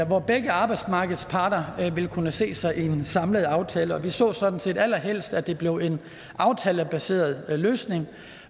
hvor begge arbejdsmarkedets parter vil kunne se sig i en samlet aftale og vi så sådan set allerhelst at det blev en aftalebaseret løsning